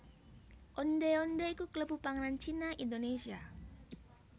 Ondhé ondhé iku kalebu panganan Cina Indonésia